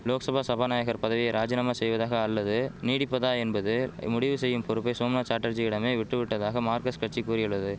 லோக்சபா சபாநாயகர் பதவியை ராஜினாமா செய்வதாக அல்லது நீடிப்பதா என்பது முடிவு செய்யும் பொறுப்பை சோம்நாத் சாட்டர்ஜியிடமே விட்டுவிட்டதாக மார்கஸ்ட் கட்சி கூறியுள்ளது